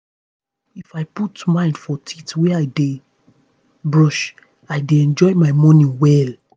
if i put mind for teeth wey i dey brush i dey enjoy my morning well.